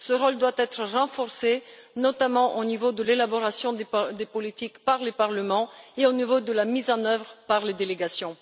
Ce rôle doit être renforcé, notamment au niveau de l'élaboration des politiques par les parlements et de la mise en œuvre par les délégations.